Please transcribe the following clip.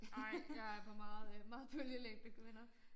Nej jeg er på meget øh meget bølgelængde kvinder